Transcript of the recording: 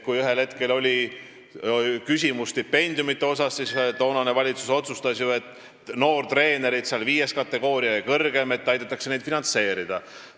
Kui ühel hetkel oli üleval küsimus stipendiumidest, siis toonane valitsus otsustas ju aidata finantseerida noortetreenereid, kellel on viies või kõrgem kategooria.